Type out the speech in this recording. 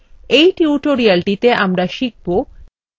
in টিউটোরিয়ালটিতে আমরা শিখব কিভাবে